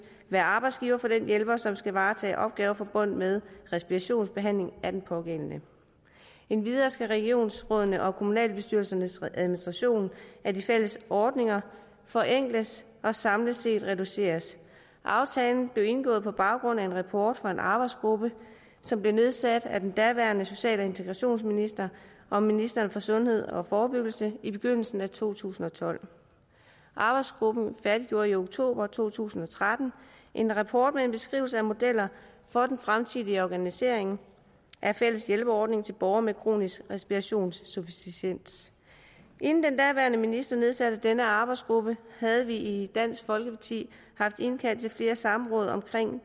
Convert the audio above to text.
være arbejdsgiver for den hjælper som skal varetage opgaver forbundet med respirationsbehandling af den pågældende endvidere skal regionsrådene og kommunalbestyrelsernes administration af de fælles ordninger forenkles og samlet set reduceres aftalen blev indgået på baggrund af en rapport fra en arbejdsgruppe som blev nedsat af den daværende social og integrationsminister og ministeren for sundhed og forebyggelse i begyndelsen af to tusind og tolv arbejdsgruppen færdiggjorde i oktober to tusind og tretten en rapport med en beskrivelse af modeller for den fremtidige organisering af fælles hjælperordning til borgere med kronisk respirationsinsufficiens inden den daværende minister nedsatte denne arbejdsgruppe havde vi i dansk folkeparti haft indkaldt til flere samråd om